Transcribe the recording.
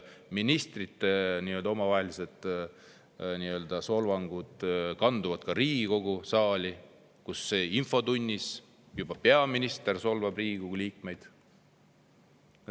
Ministrite omavahelised solvangud kanduvad ka Riigikogu saali, infotunnis solvab peaminister juba ka Riigikogu liikmeid.